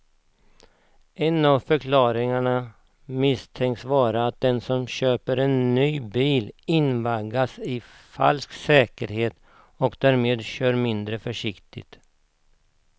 En av förklaringarna misstänks vara att den som köper en ny bil invaggas i en falsk säkerhet och därmed kör mindre försiktigt.